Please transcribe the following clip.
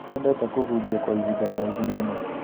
Nĩendete kũhunjia kwa ihinda iraihu mũno